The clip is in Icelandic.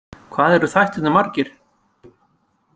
Hvað eru þættirnir margir?